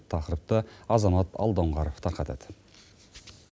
тақырыпты азамат алдоңғаров тарқатады